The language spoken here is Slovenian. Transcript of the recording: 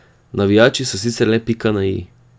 Navijači so sicer le pika na i.